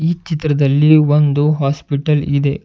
ಈ ಚಿತ್ರದಲ್ಲಿ ಒಂದು ಹಾಸ್ಪಿಟಲ್ ಇದೆ.